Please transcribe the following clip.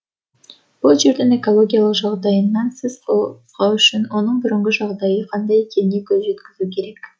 бұл жердің экологиялық жағдайынан сіз қозғау үшін оның бұрынғы жағдайы қандай екеніне көз жеткізу керек